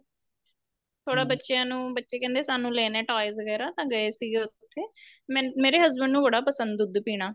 ਥੋੜਾ ਬੱਚਿਆ ਨੂੰ ਬੱਚੇ ਕਹਿੰਦੇ ਸਾਨੂੰ ਲੈਣਾ toys ਵਗੈਰਾ ਤਾਂ ਗਏ ਸੀਗੇ ਉਥੇ ਮੇ ਮੇਰੇ husband ਨੂੰ ਬੜਾ ਪਸੰਦ ਦੁੱਧ ਪੀਣਾ